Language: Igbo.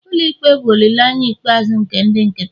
ụlọ ikpe bụ olileanya ikpeazụ nke ndị nkịtị